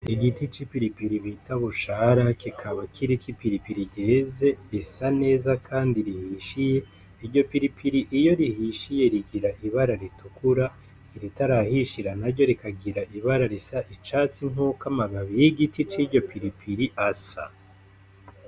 Igiti c'ipiripiri bita bushara kikaba kiriko ipiripiri ryeze risa neza kandi rihishiye iryo piripiri iyo rihishiye rigira ibara ritukura iritarahishira naryo rikagira ibara risa icatsi nkuko igiti kiryo piripiri asa.